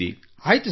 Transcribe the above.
ಆಯ್ತು ಸರ್